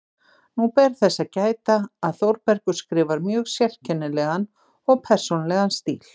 Nú ber þess að gæta, að Þórbergur skrifar mjög sérkennilegan og persónulegan stíl.